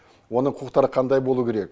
оның құқықтары қандай болуы керек